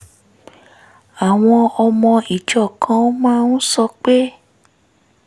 àwọn ọmọ ìjọ kan máa ń sọ pé